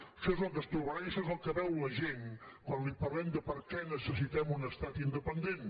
això és el que es trobarà i això és el que veu la gent quan li parlem de per què necessitem un estat independent